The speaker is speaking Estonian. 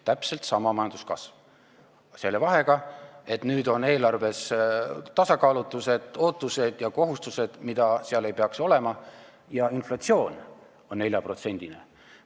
Täpselt sama majanduskasv, aga selle vahega, et nüüd on eelarves tasakaalutused, ootused ja kohustused, mida seal ei peaks olema, ja inflatsioon on 4%-ne.